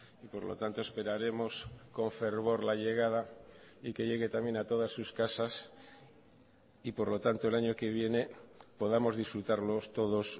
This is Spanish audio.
y por lo tanto esperaremos con fervor la llegada y que llegue también a todas sus casas y por lo tanto el año que viene podamos disfrutarlos todos